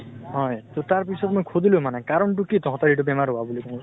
হয়, তাৰ পিছত মই খুদিলো মানে কাৰণ টো কি তহঁতৰ এইটো বেমাৰ হোৱা বুলি মো